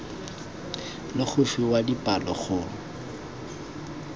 le go fiwa dipalo go